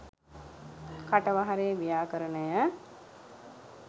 කටවහරේ ව්‍යාකරණය.